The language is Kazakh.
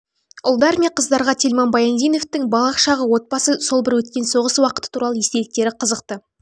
ұлдар мен қыздарға тельман баяндиновичтің балалық шағы отбасы сол бір өткен соғыс уақыты туралы естеліктері қызықты